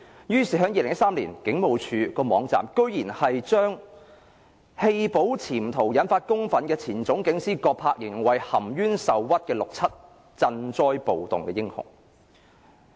於是 ，2013 年警務處的網站居然將棄保潛逃引發公憤的前總警司葛柏形容為含冤受屈的六七鎮暴英雄。